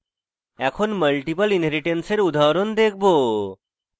এখন multiple inheritance এর উদাহরণ দেখব